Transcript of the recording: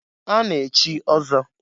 A na-echi ọzọ.